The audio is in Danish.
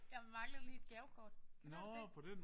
Jeg manglede lige et gavekort kender du ikke det?